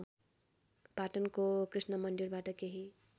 पाटनको कृष्णमन्दिरबाट केही